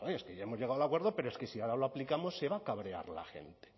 es que ya hemos llegado al acuerdo pero es que si ahora lo aplicamos se va a cabrear la gente